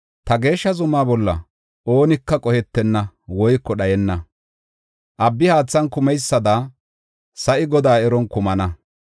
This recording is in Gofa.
Ta geeshsha zumaa bolla oonika qohetenna woyko dhayenna. Abbi haathan kumeysada sa7i Godaa eron kumana.